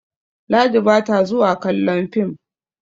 Ladi ba ta zuwa kallon fim